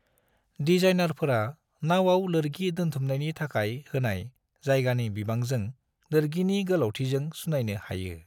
डिजाइनरफोरा नावाव लोरगि दोन्थुमनायनि थाखाय होनाय जायगानि बिबांजों लोरगिनि गोलावथिजों सुनायनो हायो।